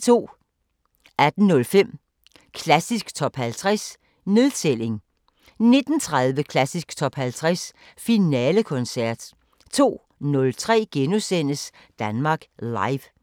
18:05: Klassisk Top 50 – nedtælling 19:30: Klassisk Top 50 Finalekoncert 02:03: Danmark Live *